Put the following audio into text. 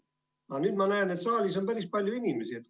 Aga nüüd ma näen, et saalis on päris palju inimesi.